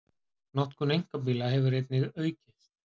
Notkun einkabíla hefur einnig aukist